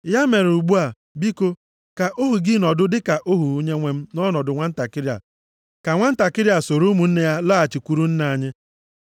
“Ya mere ugbu a, biko, ka ohu gị nọdụ dịka ohu onyenwe m nʼọnọdụ nwantakịrị a, ka nwantakịrị a soro ụmụnne ya laghachikwuru nna anyị.